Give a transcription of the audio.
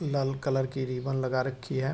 लाल colour की ribbon लगा रखी है।